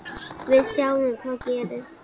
Við sjáum hvað gerist.